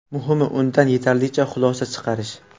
Muhimi undan yetarlicha xulosa chiqarish.